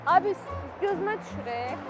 Ay bir gözümə düşür.